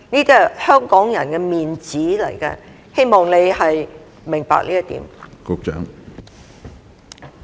這是香港人的"面子"，希望你明白這一點。